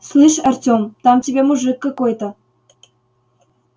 слышь артём там тебя мужик какой-то